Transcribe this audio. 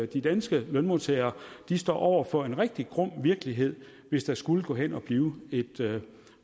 de danske lønmodtagere står over for en rigtig grum virkelighed hvis der skulle gå hen og blive et